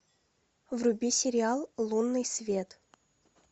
вруби сериал лунный свет